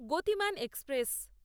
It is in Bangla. গতিমান এক্সপ্রেস